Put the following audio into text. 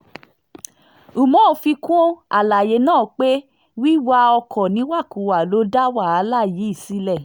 umar fi kún àlàyé náà pé wíwa ọkọ̀ níwàkuwà ló dá wàhálà yìí sílẹ̀